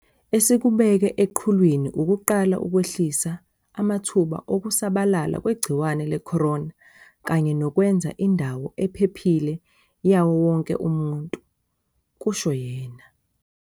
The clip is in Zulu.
"Esikubeke eqhulwini ukuqala ukwehlisa amathuba okusabalala kwegciwane le-corona kanye nokwenza indawo ephephile yawo wonke umuntu," kusho yena.